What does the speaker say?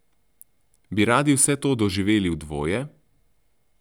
Bi radi vse to doživeli v dvoje?